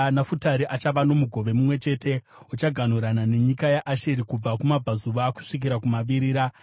Nafutari achava nomugove mumwe chete; uchaganhurana nenyika yaAsheri kubva kumabvazuva kusvikira kumavirira.